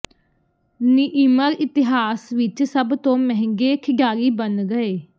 ਨੀਇਮਰ ਇਤਿਹਾਸ ਵਿਚ ਸਭ ਤੋਂ ਮਹਿੰਗੇ ਖਿਡਾਰੀ ਬਣ ਗਏ